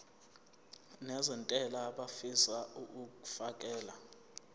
nezentela abafisa uukfakela